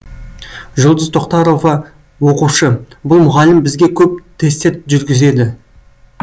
жұлдыз тоқтарова оқушы бұл мұғалім бізге көп тестер жүргізеді